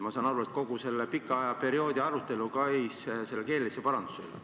Ma saan aru, et kogu see pikk arutelu käis keelelise paranduse üle.